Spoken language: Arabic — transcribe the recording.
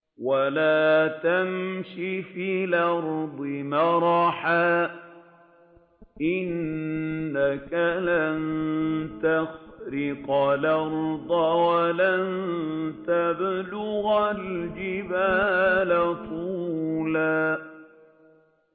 وَلَا تَمْشِ فِي الْأَرْضِ مَرَحًا ۖ إِنَّكَ لَن تَخْرِقَ الْأَرْضَ وَلَن تَبْلُغَ الْجِبَالَ طُولًا